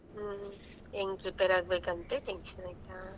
ಹ್ಮ್ ಹೆಂಗ್ prepare ಆಗ್ಬೇಕಂತ tension ಆಯ್ತಾ.